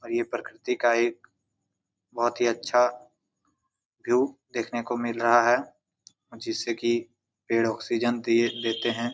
और ये प्रकृति का एक बहुत ही अच्छा भीयू देखने को मिल रहा है जिससे कि पेड़ ऑक्सीजन दिए देते है।